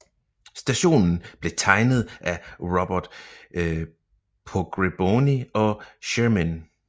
Stationen blev tegnet af Robert Pogrebnoi og Cheremin